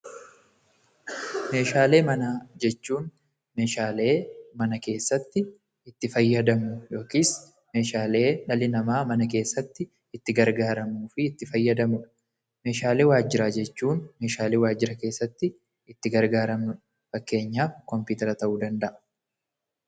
Meeshaalee manaa jechuun meeshaalee mana keessatti itti fayyadamnu yookiin meeshaalee dhalli namaa mana keessatti itti gargaarramuu fi itti fayyadamanidha. Meeshaalee waajjiraa jechuun meeshaalee waajjira keessatti itti fayyadamnu jechuudha fakkeenyaaf kompiitera.